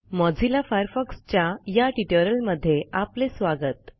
Mozilla Firefox च्या या ट्युटोरियलमध्ये आपले स्वागत